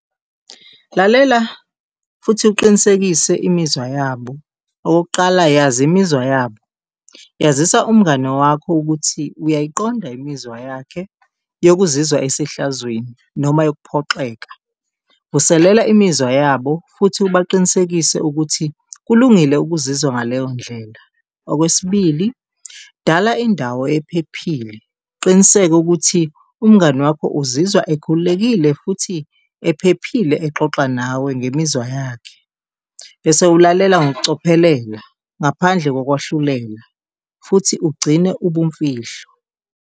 Lalela futhi uqinisekise imizwa yabo. Okokuqala, yazi imizwa yabo, yazisa umngani wakho ukuthi uyayiqonda imizwa yakhe yokuzizwa esehlazweni noma yokukuphoxeka. Vuselela imizwa yabo futhi ubaqinisekise ukuthi kulungile ukuzizwa ngaleyo ndlela. Okwesibili, dala indawo ephephile uqiniseke ukuthi umngani wakho uzizwa ekhululekile futhi ephephile exoxa nawe ngemizwa yakhe, bese ulalela ngokucophelela ngaphandle kokwahlulela futhi ugcine ubumfihlo.